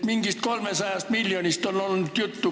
Mingist 300 miljonist on olnud juttu.